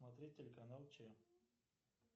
смотреть телеканал че